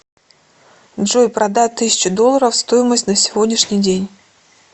джой продать тысячу долларов стоимость на сегодняшний день